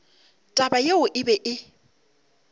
taba yeo e be e